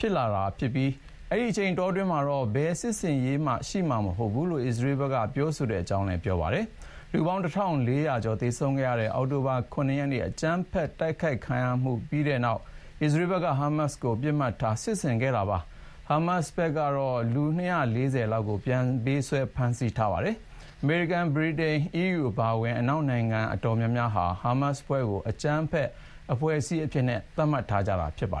ဖြစ်လာပြီး ဒီအချိန်အတွင်းမှာတော့ ဘယ်စစ်ဆင်ရေးမှ ရှိမှာမဟုတ်ဘူးလို့ အစ္စရေးဘက်က ပြောတဲ့အကြောင်းလည်း ပြောပါတယ်။ လူပေါင်း ၁,၄၀၀ ကျော်သေဆုံးခဲ့ရတဲ့ အောက်တိုဘာလ ၇ ရက်နေ့ အကြမ်းဖက်တိုက်ခိုက်ခံရမှုဖြစ်ပြီးတဲ့နောက် အစ္စရေးဘက်က ဟားမတ်စ်တွေကို ပစ်မှတ်ထား စစ်ဆင်ခဲ့တာပါ။ ဟားမတ်စ်တွေက လူ ၂၄၀ လောက်ကို ပြန်ပေးဆွဲဖမ်းဆီးထားပါတယ်။ အမေရိကန်၊ ဗြိတိန်၊ အီးယူအပါအဝင် အနောက်နိုင်ငံအတော်များများဟာ ဟားမတ်စ်အဖွဲ့ကို အကြမ်းဖက်အဖွဲ့အစည်းအဖြစ် သတ်မှတ်ထားကြတာပါ